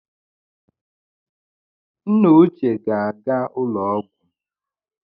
Nna uche ga-aga ụlọ ọgwụ